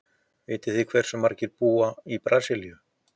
Vitið þið hversu margir búa í Brasilíu?